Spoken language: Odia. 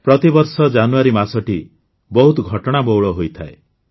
ପ୍ରତିବର୍ଷ ଜାନୁଆରୀ ମାସଟି ବହୁତ ଘଟଣାବହୁଳ ହୋଇଥାଏ